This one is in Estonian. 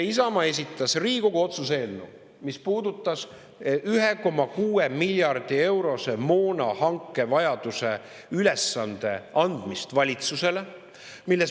Isamaa esitas Riigikogu otsuse eelnõu, mis puudutab 1,6 miljardi eurose moonahanke ülesande andmist valitsusele.